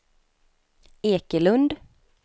Ekelund